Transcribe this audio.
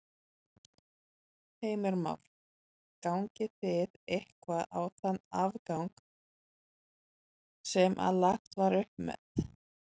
Heimir Már: Gangið þið eitthvað á þann afgang sem að lagt var upp með?